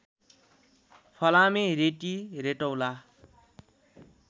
फलामे रेटि रेटौला